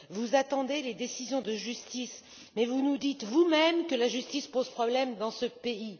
Vous attendez les décisions de justice, mais vous nous dites vous même que la justice pose problème dans ce pays.